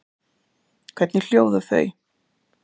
Hvernig hljóða þau?